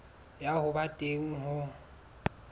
ya ho ba teng ho